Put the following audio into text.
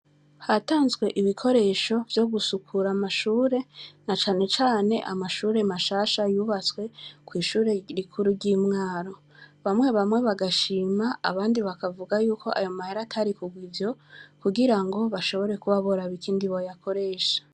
Hatanzwe ibikoresho vyo gusukura amashure na cane cane amashure mashasha yubatswe kw' ishuri rikuru ry' i Mwaro. Bamwe bamwe barashima, abandi bakavuga yuko mahera atari kugirwa ivyo, kugirango bashobora kuba boraba ikindi bayakoresha.